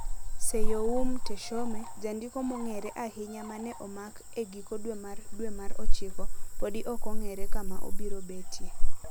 Seyoum Teshome, jandiko mong'ere ahinya ma ne omak e giko dwe mar dwe mar ochiko, podi ok ong'ere kama obiro betie.